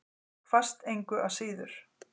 Hvasst engu að síður.